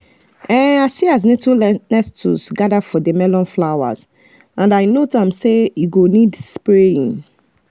i see as nettles gather for the melon flowers and i note am say e go need spraying